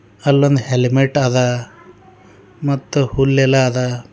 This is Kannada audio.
ಅಲ್ಲೊಂದ್ ಹೆಲ್ಮೆಟ್ ಅದ ಮತ್ತು ಹುಲ್ಲೆಲ್ಲ ಅದ.